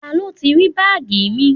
Ta ló ti rí báàgì mi?